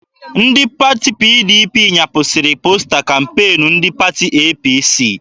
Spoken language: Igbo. Ndị pati PDP nyapụsiri posta kampeenu ndị pati APC